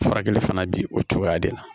Furakɛli fana bi o cogoya de la